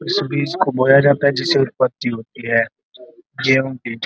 इस बीज को बोया जाता है जिससे उत्पत्ति होती है। गेहूं बीज --